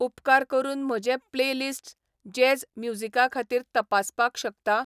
उपकार करून म्हजे प्लेलिस्ट्स जॅझ म्युझीकाखातीर तपासपाक शकता?